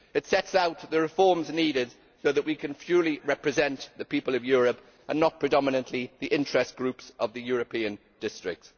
It sets out the reforms needed so that we can fully represent the people of Europe and not predominantly the interest groups of the European district.